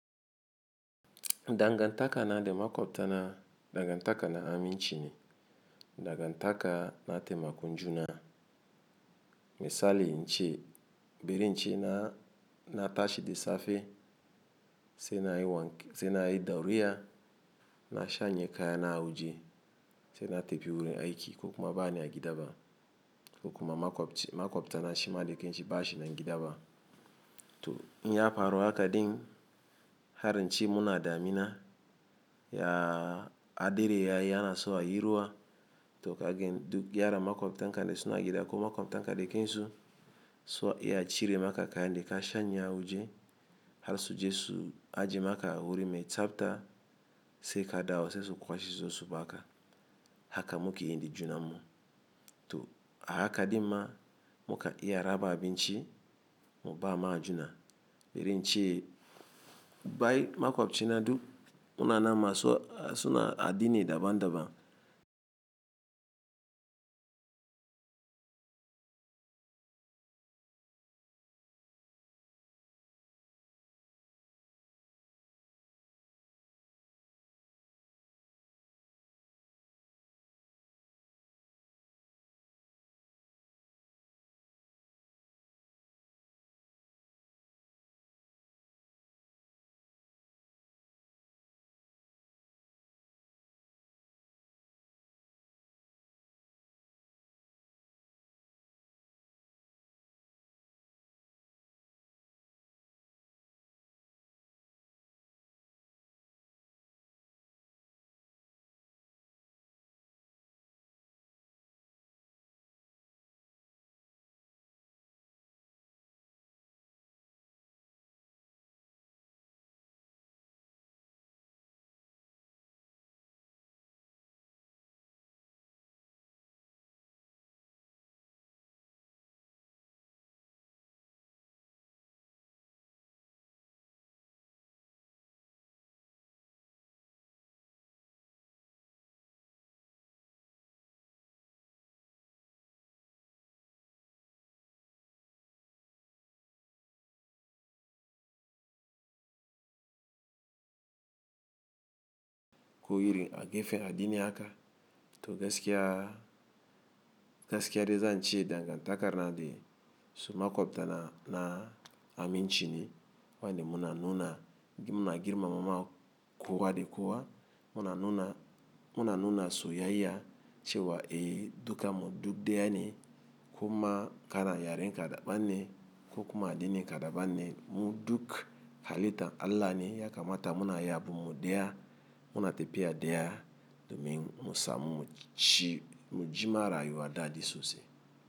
Dangantaka na de makwabtana, dangantaka na aminchi ne, dangantaka na temakon njuna. Misali inche, bari inche na tashi de safe se na yi dauriya, na shanye kaya na auje se na tepi wurin aiki ko kuma baani a gida ba ko kuma makwabta na shi ma de kinshi bashi na gida ba. To in ya paro haka din har inche muna da amina ya hadire ya yana so a yiruwa to kagen duk yara makwabtan ka de suna gida ko makwabtan ka de kinshi so ya cire maka kaya de ka shanye a auje har su je su aji maka wurin me tsafta se ka dawo sai su kwashi sosu ba haka haka muka yi indin junan mu. To a haka din ma muka iya ra ba abin ci mu ba ma ajuna. Biri inche bai makwabtina duk muna na ma so suna addini daban daban. Ko iri a gefen addini haka to gaskiya, gaskiya de zan ce dangantaka na de su makwabtana na aminchi ni wanda muna nuna muna girmamawa kowa da kowa, muna nuna muna nuna soyayya cewa eh duka mu duk daya ne ko kuma kana yaren kada ba ne ko kuma addini kada ba ne mu duk halitta Allah ne ya kamata muna yaɓu mu daya muna tepiya daya domin mu samu mujima rayuwa da da sosai.